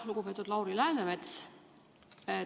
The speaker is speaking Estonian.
Lugupeetud Lauri Läänemets!